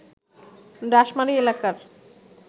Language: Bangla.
ডাশমারি এলাকার